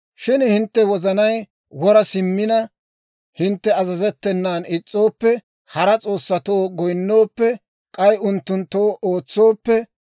«Shin hintte wozanay wora simmina, hintte azazettenan is's'ooppe, hara s'oossatoo goyinooppe, k'ay unttunttoo ootsooppe,